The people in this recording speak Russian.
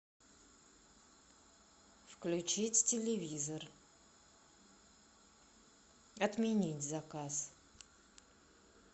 включить телевизор отменить заказ